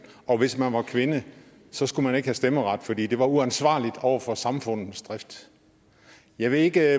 og hvis man var kvinde så skulle man ikke have stemmeret fordi det var uansvarligt over for samfundets drift jeg ved ikke